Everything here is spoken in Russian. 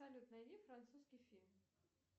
салют найди французский фильм